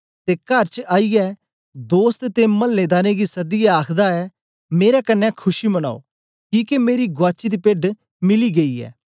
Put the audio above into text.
ते कर च आईयै दोस्त ते मल्लेदारें गी सदियै आखदा ऐ मेरे कन्ने खुशी मनाओ किके मेरी गुआची दी पेड्ड मिली गेई ऐ